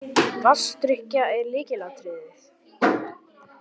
Vatnsdrykkja er lykilatriði.